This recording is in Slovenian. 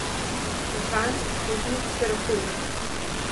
Mehanik, voznik, terapevt ...